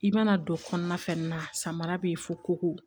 I mana don kɔnɔna fɛn min na samara bɛ ye foko